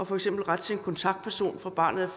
for eksempel ret til en kontaktperson fra barnet